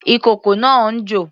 Ìkókó náà ń jò.